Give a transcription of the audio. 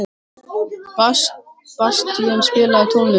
Bastían, spilaðu tónlist.